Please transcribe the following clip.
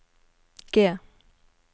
G